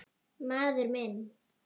Maður minn.